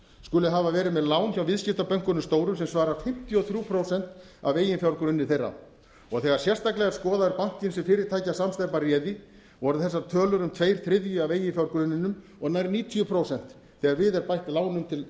skuli hafa verið með lán hjá viðskiptabönkunum stóru sem svarar fimmtíu og þrjú prósent af eiginfjárgrunni þeirra og þegar sérstaklega er skoðaður banki sem fyrirtækjasamsteypa réði voru þessar tölur um tveir þriðju af eiginfjárgrunninum og nær níutíu prósent þegar við er bætt lánum til